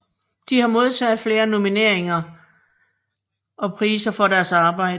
De har modtaget flere nomineringer og priser for deres arbejde